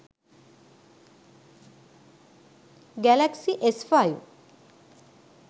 galaxy s5